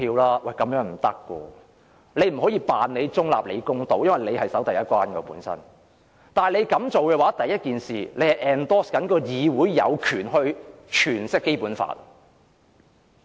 主席不能假裝中立和公道，主席應負責守第一關，主席容許提出有關建議，便是支持議會有權詮釋《基本法》。